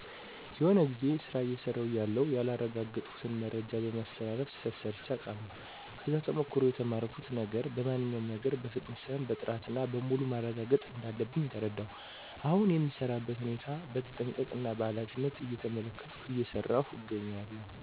የሆነ ጊዜ ስራ አየሰራው እያለሁ ያላረጋገጥኩትን መረጃ በማስተላለፍ ስህተት ሰርቼ አቃለሁ። ከዛ ተሞክሮ የተማርኩት ነገር በማንኛውም ነገር በፍጥነት ሳይሆን በጥረት እና በሙሉ ማረጋገጥ እንዳለብኝ ተረዳሁ። አሁን የምሰራበትን ሁኔታ በተጠንቀቀ እና በኃላፊነት እየተመለከትኩ እየሰራው እገኛለሁ።